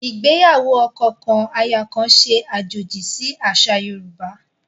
Ìgbéyàwó ọkọ kan, aya kan ṣe àjòjì sì àṣà Yorùbá